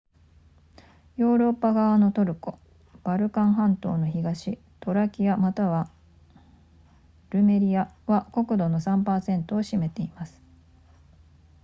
ヨーロッパ側のトルコバルカン半島の東トラキアまたはルメリアは国土の 3% を占めています